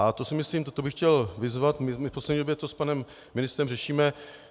A to si myslím, toto bych chtěl vyzvat - my v poslední době to s panem ministrem řešíme.